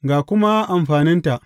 Ga kuma amfaninta.